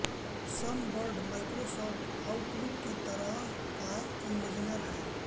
sunbird Microsoft Outlook की तरह का ईमैनेजर है